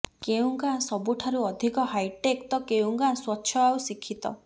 କେଉଁ ଗାଁ ସବୁଠାରୁ ଅଧିକ ହାଇଟେକ୍ ତ କେଉଁ ଗାଁ ସ୍ୱଚ୍ଛ ଆଉ ଶିକ୍ଷିତ